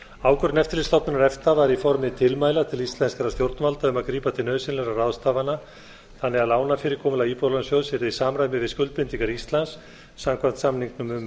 ákvörðun eftirlitsstofnunar efta var í formi tilmæla til íslenskra stjórnvalda um að grípa til nauðsynlegra ráðstafana þannig að lánafyrirkomulag íbúðalánasjóðs yrði í samræmi við skuldbindingar íslands samkvæmt samningnum um